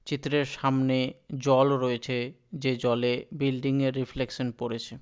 চিত্রের সামনে জল রয়েছে যে জলে বিল্ডিং এর রিফ্লেক্সসান পড়েছে।